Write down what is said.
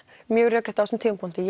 mjög rökrétt á þeim tímapunkti